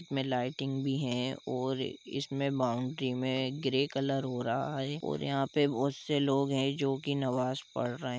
इसमें लाइटिंग भी है और इस में बॉउंड्री में ग्रे कलर हो रहा है और यहाँ पे बहुत से लोग है जो की नमाज पढ़ रहे हैं।